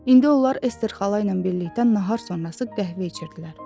İndi onlar Ester xala ilə birlikdə nahar sonrası qəhvə içirdilər.